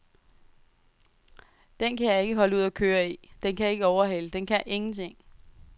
Den kan jeg ikke holde ud at køre i, den kan ikke overhale, den kan ingenting.